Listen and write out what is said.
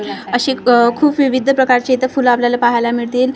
अशी आह खूप विविध प्रकारची इथं फुलं पहायला मिळतील फुलं --